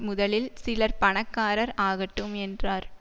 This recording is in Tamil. முதலில் சிலர் பணக்காரர் ஆகட்டும் என்றார்